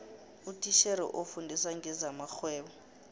utitjhere ofundisa ngezamarhwebo